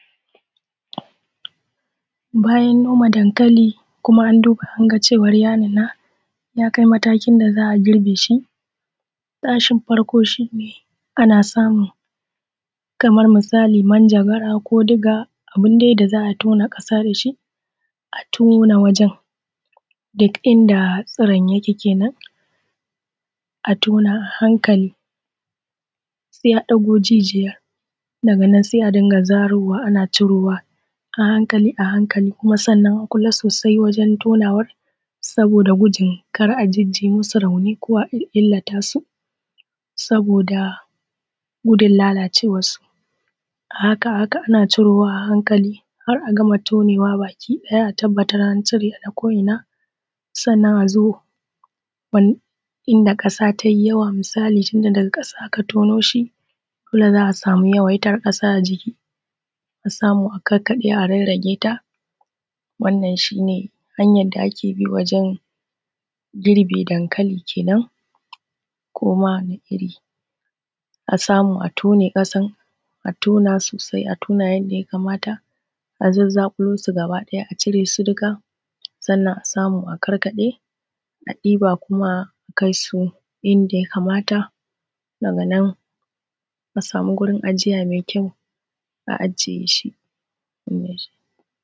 Bayan noma dankali Kuma an duba anga cewan ya nuna yakai matakin da za'a girbeshi. Ana samun kamar misali minjagara ko diga abun dai da za'a girbe shi, a tone wajen duk inda tsiron yake kenan a tona a hankali sai a ɗago jijiyan daga nan sa a dinga zarowa ana ɗagowa a hanakalia hankali kuma sannan a kula sosai gurin ɗagawan, saboda gudun ka'a Jiji musu rauni ko a illata su. Saboda gudun lalacewan su, a haka a haka ana cirowa a hankali har'a gama cirowa baki ɗaya a tabbatar an cire na ko inna. Sannan azo inda kasa tai misali tunda daga kasa aka turoshi za'a samu yawaitar ƙasa a jiki, a samu a kakkaɓe a rarrage ta wannan shine wannan shine hanyar da ake bi wajen girbe dankali kenan. Koma wani irrin a samu a tone kasan sai a tona yadda ya kamata a zazzakulo su gaba ɗaya a cire su dukka sannan a samu a karkaɗe a ɗiba kuma a kaisu inda ya kamata daga nan a samu gurin ajiya mai kyau a ajiye wannan shine.